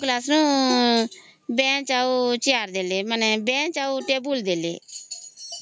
ଛ class bench ଆଉ chair ଦେଲେ ମାନେ ବେଞ୍ଚ ଆଉ ଟେବୁଲ ଦେଲେ